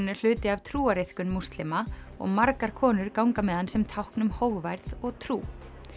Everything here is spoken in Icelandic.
er hluti af trúariðkun múslima og margar konur ganga með hann sem tákn um hógværð og trú